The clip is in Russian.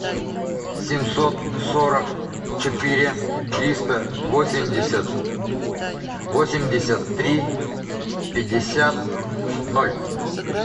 семьсот сорок четыре триста восемьдесят восемьдесят три пятьдесят ноль